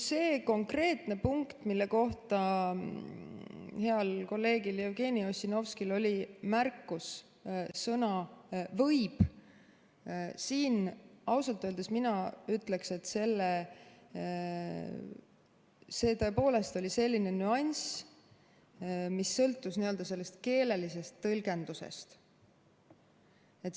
See konkreetne punkt, mille kohta heal kolleegil Jevgeni Ossinovskil oli märkus – sõna "võib" –, siin ausalt öeldes mina ütleksin, et see oli tõepoolest selline nüanss, mis sõltus keelelisest tõlgendusest.